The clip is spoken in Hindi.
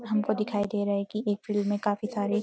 हमको दिखाई दे रहा है कि एक फील्ड में काफी सारे --